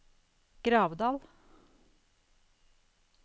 Gravdal